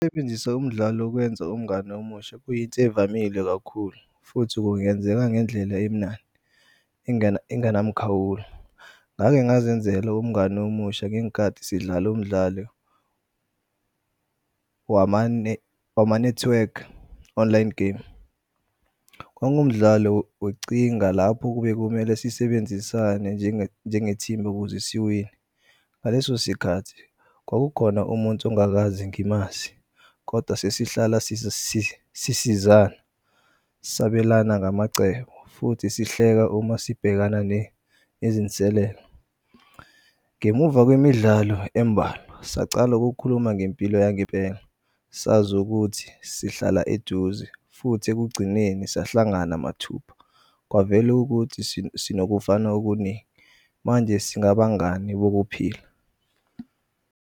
Sebenzisa umdlalo ukwenza umngani omusha kuyinto ey'vamile kakhulu futhi kungenzeka ngendlela emnandi engenamkhawulo. Ngake ngazenzela umngani omusha ngenkathi sidlal'umdlalo wama-network online game. Kwangumdlalo wocinga lapho kube kumele sisebenzisane njengethimba ukuze siwine. Ngaleso sikhathi kwakukhona umunthu ongangazi ngimazi, kodwa sesihlala sisizana sabelana ngamacebo futhi sihleka uma sibhekana nezinselelo. Ngemuva kwemidlalo embalwa sacal'ukukhuluma ngempilo yangempela sazi ukuthi sihlala eduze futhi ekugcineni siyahlangana mathupha. Kwavel'ukuthi sinokufana okuningi manje singabangani wokuphila.